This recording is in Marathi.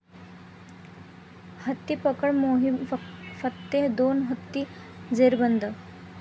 हत्तीपकड मोहिम फत्ते, दोन हत्ती जेरबंद!